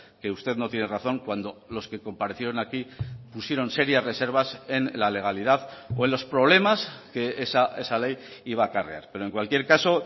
que usted no tiene razón cuando los que comparecieron aquí pusieron serias reservas en la legalidad o en los problemas que esa ley iba a acarrear pero en cualquier caso